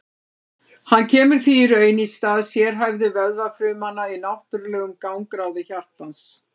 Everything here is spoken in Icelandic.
hann kemur því í raun í stað sérhæfðu vöðvafrumanna í náttúrlegum gangráði hjartans